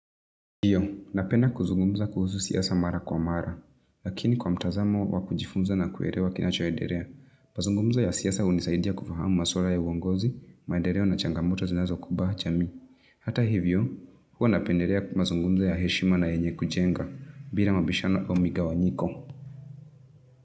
Ndiyo, napenda kuzungumza kuhusu siasa mara kwa mara, lakini kwa mtazamo wa kujifunza na kuelewa kinachoendelea. Mazungumzo ya siasa hunisaidia kufahamu maswala ya uongozi, maendeleo na changamoto zinazokumba jamii. Hata hivyo, huwa napendelea mazungumzo ya heshima na yenye kujenga, bila mabishano au migawanyiko.